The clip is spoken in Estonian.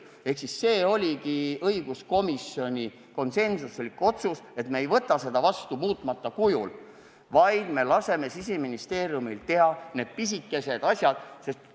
See oligi õiguskomisjoni konsensuslik otsus, et me ei võta seda seadust vastu muutmata kujul, vaid laseme Siseministeeriumil teha need pisikesed muudatused.